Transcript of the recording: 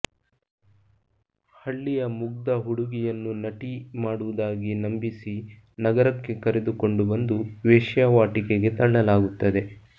ಹಳ್ಳಿಯ ಮುಗ್ಧ ಹುಡುಗಿಯನ್ನು ನಟಿ ಮಾಡುವುದಾಗಿ ನಂಬಿಸಿ ನಗರಕ್ಕೆ ಕರೆದುಕೊಂಡು ಬಂದು ವೇಶ್ಯಾವಾಟಿಕೆಗೆ ತಳ್ಳಲಾಗುತ್ತದೆ